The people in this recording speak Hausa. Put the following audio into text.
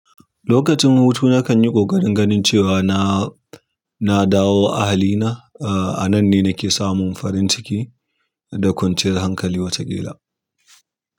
Lokacin hutu nakanyi ƙoƙarin ganin cewa na, na, dawo ahalina ah. A nan ne nake samun farin ciki da kwanciyar hankali wataƙila.